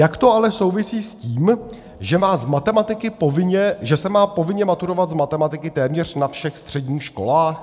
Jak to ale souvisí s tím, že se má povinně maturovat z matematiky téměř na všech středních školách?